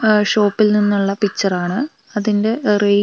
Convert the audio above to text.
ആ ഷോപ്പിൽ നിന്നുള്ള പിക്ചർ ആണ് അതിന്റെ റേറ്റ് ഒക്കെ അവി --